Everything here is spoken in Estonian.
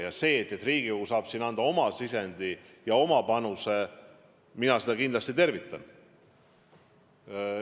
Ja seda, et Riigikogu saab siin anda oma panuse, mina kindlasti tervitan.